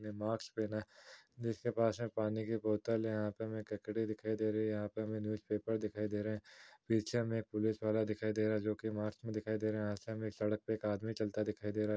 Mask पहना है जिसके पास में पानी की बोतल है यहाँ पे हमें ककड़ी दिखाई दे रही है यहाँ पे हमें न्यूज पेपर दिखाई दे रहे है पीछे में पुलिस वाला दिखाई दे रहा है जोकि मास्क में दिखाई दे रहा है यहाँ से हमें सड़क पे एक आदमी चलता दिखाई दे रहा है।